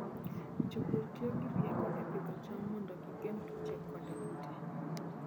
Jopur tiyo gi rieko e pidho cham mondo gigeng' tuoche koda kute.